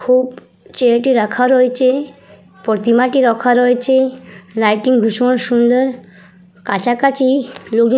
খুব চেরাটি চেয়ারটি রাখা রয়েছে প্রতিমাটি রাখা রয়েছে লাইটিং ভীষণ সুন্দর কাছাকাছি --